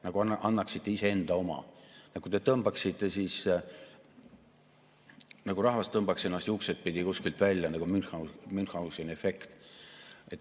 Nagu annaksite iseenda oma, nagu rahvas tõmbaks ennast juukseidpidi kuskilt välja, nagu Münchhauseni efekt.